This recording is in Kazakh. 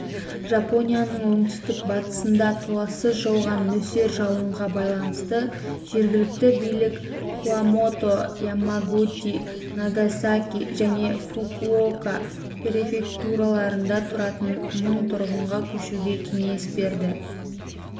жапонияның оңтүстік-батысында толассыз жауған нөсер жауынға байланысты жергілікті билік кумамото ямагути нагасаки және фукуока префектураларында тұратын мың тұрғынға көшуге кеңес берді